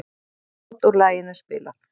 Brot úr laginu spilað